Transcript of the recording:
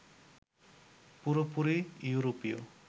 পুরোপুরি য়ুরোপীয়